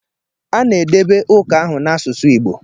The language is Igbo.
A na-edebe ụka ahụ n'asụsụ Igbo.